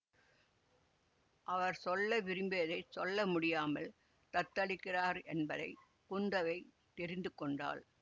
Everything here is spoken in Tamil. அவர் சொல்ல விரும்பியதைச் சொல்ல முடியாமல் தத்தளிக்கிறார் என்பதை குந்தவை தெரிந்து கொண்டாள்